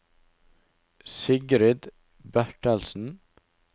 Sigrid Bertelsen